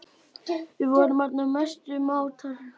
Við vorum orðnar mestu mátar.